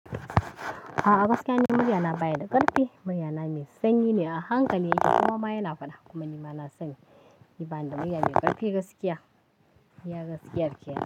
Aa gaskiya ni murya na baya da ƙarfi. Murya na mai sanyi ne a hankali yake kowa ma ya na fada kuma ni ma na sani. Bani da murya mai ƙarfi gaskiya, ya gaskiyar ƙenan.